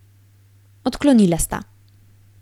Odklonila sta.